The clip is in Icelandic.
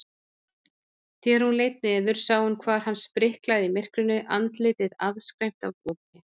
Þegar hún leit niður sá hún hvar hann spriklaði í myrkrinu, andlitið afskræmt af ópi.